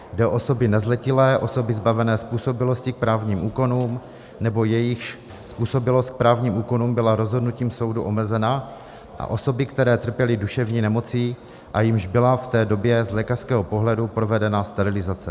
Jde o osoby nezletilé, osoby zbavené způsobilosti k právním úkonům nebo jejichž způsobilost k právním úkonům byla rozhodnutím soudu omezena a osoby, které trpěly duševní nemocí a jimž byla v té době z lékařského pohledu provedena sterilizace.